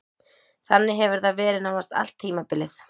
Þannig hefur það verið nánast allt tímabilið.